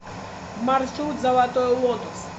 маршрут золотой лотос